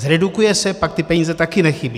Zredukuje se, pak ty peníze také nechybí.